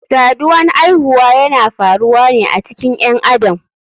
Saduwan aihuwa yana faruwane a cikin ƴen adam.